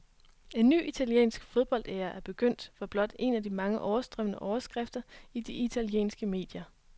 En ny italiensk fodboldæra er begyndt, var blot en af de mange overstrømmende overskrifter i de italienske medier.